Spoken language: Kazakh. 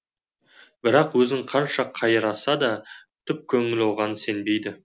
бірақ өзін қанша қайраса да түп көңілі оған сенбейді